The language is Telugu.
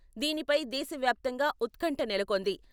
దీనిపై దేశవ్యాప్తంగా ఉత్కంఠ నెలకొంది.